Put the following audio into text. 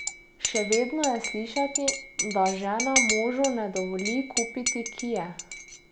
Še vedno je slišati, da žena možu ne dovoli kupiti kie.